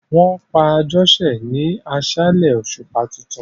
Wọn pa Àjosẹ ni aṣálẹ̀ òṣùpá tuntun.